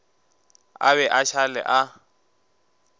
a be a šale a